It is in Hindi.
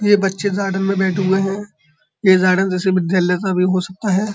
यह बच्चे गार्डन में बैठे हुए हैं। ये गार्डन जैसे विद्यालय का भी हो सकता है।